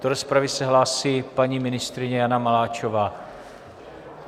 Do rozpravy se hlásí paní ministryně Jana Maláčová.